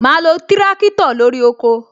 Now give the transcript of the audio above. Ma lo tirakitọ lórí oko